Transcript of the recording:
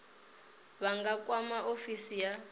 vha nga kwama ofisi ya